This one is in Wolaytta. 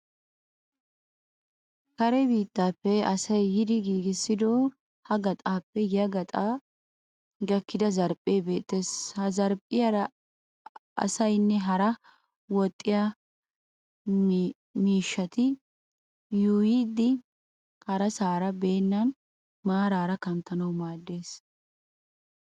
Kare biittappe asay yiidi giigissido ha qaxaappe ya gaxaa gakkida zarphphee beettes. Ha zarphphiyara asaynne hara woxxiya miishshati yuuyyidi harasaara bennan maraara kanttanawu maaddes.